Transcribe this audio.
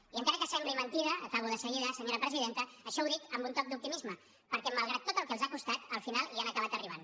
i encara que sembli mentida acabo de seguida senyora presidenta això ho dic amb un toc d’optimisme perquè malgrat tot el que els ha costat al final hi han acabat arribant